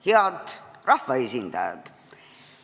Head rahvaesindajad!